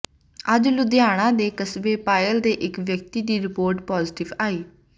ਅੱਜ ਲੁਧਿਆਣਾ ਦੇ ਕਸਬਾ ਪਾਇਲ ਦੇ ਇੱਕ ਵਿਅਕਤੀ ਦੀ ਰਿਪੋਰਟ ਪੌਜ਼ਟਿਵ ਆਈ